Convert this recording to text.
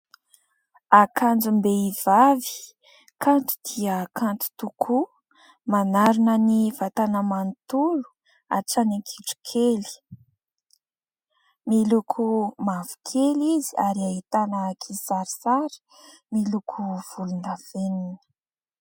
Akanjom-behivavy kanto dia kanto tokoa, manarona ny vatana manontolo hatrany an-kitrokely, miloko mavokely izy ary ahitana kisarisary miloko volondavenona.